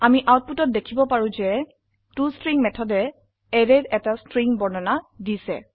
আমি আউটপুটত দেখিব পাৰো যে টষ্ট্ৰিং মেথড অ্যাৰেৰ এটা স্ট্ৰিং বৰ্ণনা দিছে